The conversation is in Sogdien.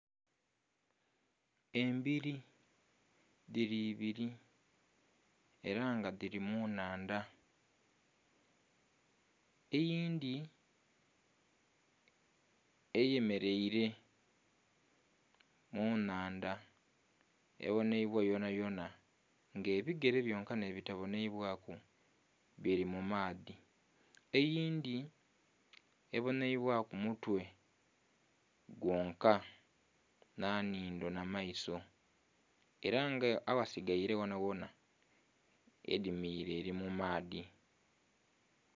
Embbiri dhiri ibiri era nga dhiri mu nhaandha eyindhi eyemereire mu nhaandha ebonheibwa yonhayonha nga ebigere byonka nhe bitabonheibwaku bili maadhi, eyindhi ebonheibwa ku mutwe gwonka nha nhindho nha maiso era nga aghasigaire ghona ghona edhimire eri mu maadhi.